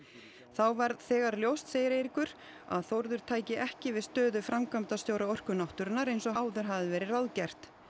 þá varð þegar ljóst segir Eiríkur að Þórður tæki ekki við stöðu framkvæmdastjóra Orku náttúrunnar eins og áður hafði verið ráðgert